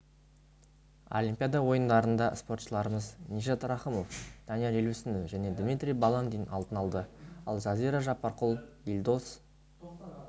олимпиада ойындарында спортшыларымыз нижат рахымов данияр елеусінов және дмитрий баландин алтын алды ал жазира жаппарқұл елдос